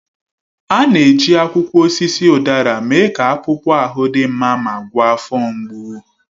A na-eji akwụkwọ osisi udara mee ka akpụkpọ ahụ dị mma ma gwọọ afọ mgbu.